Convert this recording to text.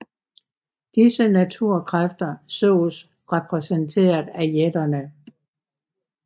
Disse naturkræfter såes repræsenteret af jætterne